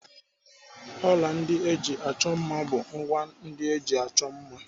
Ọla ndị eji achọ mma bụ ngwá ndị eji achọ mma.